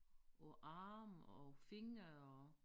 Og arme og fingre og